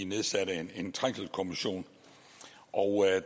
nedsatte en trængselskommission og